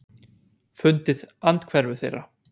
Fundið andhverfu þeirra.